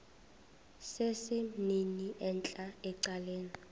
sesimnini entla ecaleni